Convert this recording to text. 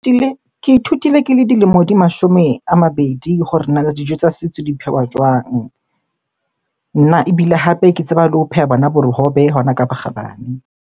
Ke ithutile ke le dilemo di mashome a mabedi hore nana dijo tsa setso di phehwa jwang? Nna ebile hape ke tseba le ho pheha bona bohobe hona ka bokgabane.